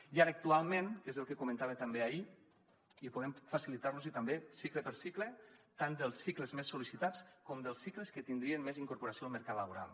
i ara actualment que és el que comentava també ahir i podem facilitar los hi també cicle per cicle tant dels cicles més sol·licitats com dels cicles que tindrien més incorporació al mercat laboral